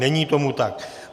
Není tomu tak.